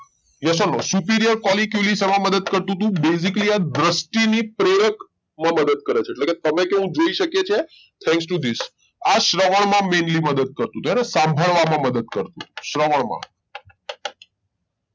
Yes or NoSuperior કોલી ક્યુલી શેમાં મદદ કરતુ તું Basically આ દ્રષ્ટિ ની પ્રેરક માં મદદ કરે છે એટલે કે તમે કેવું જોઈ શકીએ છીએ Thanks to this આ શ્રવણ માં mainly મદદ કરતું તું હેને સાંભળવા માં મદદ કરતુ શ્રવણમાં